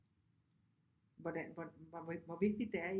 Hvor vigtigt det er at I